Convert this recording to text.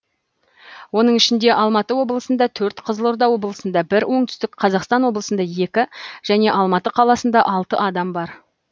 оның ішінде алматы облысында төрт қызылорда облысында бір оңтүстік қазақстан облысында екі және алматы қаласында алты адам бар